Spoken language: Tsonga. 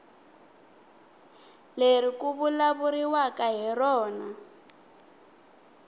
leri ku vulavuriwaka hi rona